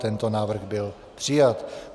Tento návrh byl přijat.